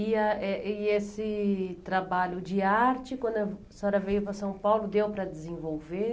E ah eh e esse trabalho de arte, quando a senhora veio para São Paulo, deu para desenvolver?